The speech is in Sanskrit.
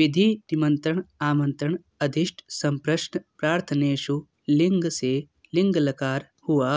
विधिनिमन्त्रणामन्त्रणाधीष्टसम्प्रश्नप्रार्थनेषु लिङ् से लिङ् लकार हुआ